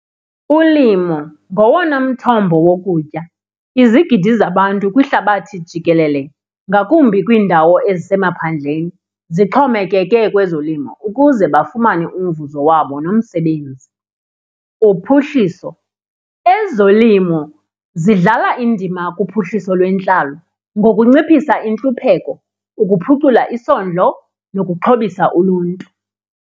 Ulimo ngowona mthombo wokutya. Izigidi zabantu kwihlabathi jikelele ngakumbi kwiindawo ezisemaphandleni zixhomekeke kwezolimo ukuze bafumane umvuzo wabo nomsebenzi. Uphuhliso, ezolimo zidlala indima kuphuhliso lwentlalo ngokunciphisa intlupheko, ukuphucula isondlo, nokuxhobisa uluntu.